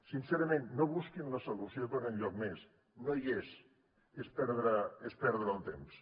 sincerament no busquin la solució per enlloc més no hi és és perdre el temps